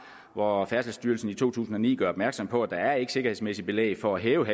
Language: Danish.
og har jo fundet at færdselsstyrelsen i to tusind og ni gør opmærksom på at der ikke er sikkerhedsmæssigt belæg for at hæve